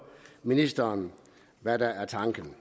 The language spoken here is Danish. ministeren hvad der er tanken